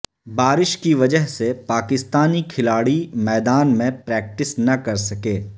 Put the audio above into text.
بارش کی وجہ سے پاکستانی کھلاڑی میدان میں پریکٹس نہ کر سکے